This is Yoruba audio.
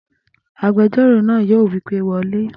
Agbẹjọ́rò náà yóò wí pé wọlé!